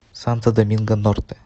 санто доминго норте